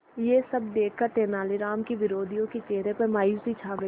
यह सब देखकर तेनालीराम के विरोधियों के चेहरे पर मायूसी छा गई